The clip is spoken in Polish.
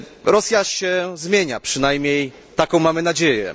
Rosja się zmienia, przynajmniej taką mamy nadzieję.